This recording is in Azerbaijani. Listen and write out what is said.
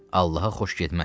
Allaha xoş getməz.